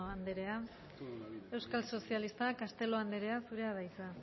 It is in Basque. andrea euskal sozialistak castelo andrea zurea da hitza